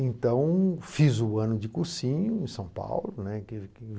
Então, fiz o ano de cursinho em São Paulo, né, que